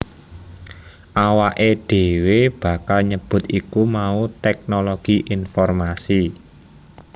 Awaké dhéwé bakal nyebut iku mau tèknologi informasi